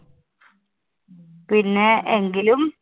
പിന്നെ എങ്കിലും